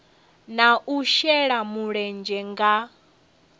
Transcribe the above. na u shela mulenzhe nga